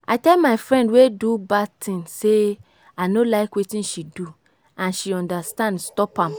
i tell my friend wey do bad thing say i no like wetin she do and she understand stop am